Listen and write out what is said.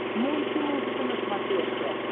мульти музыка на смотрешке